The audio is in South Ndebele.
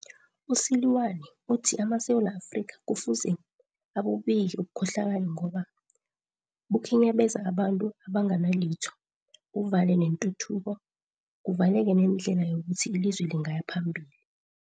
U-Seloane uthi amaSewula Afrika kufuze abubike ubukhohlakali ngoba bukhinyabeza abantu abanganalitho, buvale netuthuko, kuvaleke nendlela yokuthi ilizwe lingaya phambili.